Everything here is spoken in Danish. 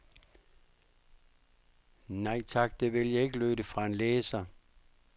Nej tak, det vil jeg ikke, lød det fra en læser.